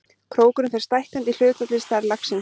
Krókurinn fer stækkandi í hlutfalli við stærð laxins.